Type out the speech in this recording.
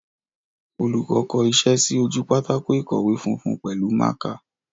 Olùkọ́ kọ iṣẹ́ sí ojú pátákó ìkọ̀wé funfun pẹ̀lú mákà.